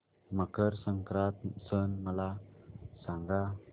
मकर संक्रांत सण मला सांगा